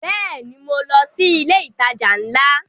Bẹ́ẹ̀ni, mo lọ sí ilé ìtajà ńlá